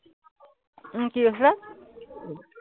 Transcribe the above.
উম কি কৈছিলা?